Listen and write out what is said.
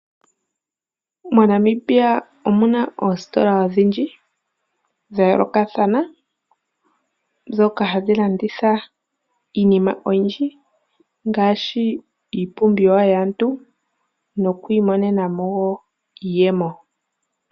Mo Namibia omuna oositola odhindji dha yoolokathana, ndhoka hadhi landitha iinima oyindji ngaashi iipumbiwa yaantu nokwiimonena mo wo iiyemo.